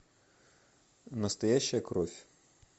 настоящая кровь